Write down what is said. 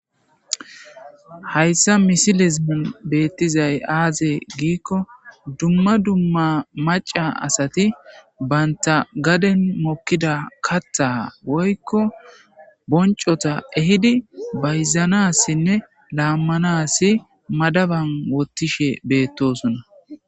hayssa misilizimi beettizay aaze giikko dumma dumma maca asati baynta gaden mokkida katha woykko boncota ehidi bayzanassinne laammanasi madaban wottishe beettosona